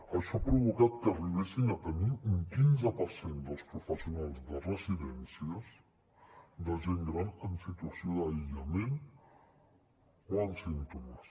això ha provocat que arribéssim a tenir un quinze per cent dels professionals de residències de gent gran en situació d’aïllament o amb símptomes